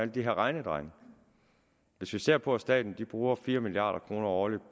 de her regnedrenge hvis vi ser på at staten bruger fire milliard kroner årligt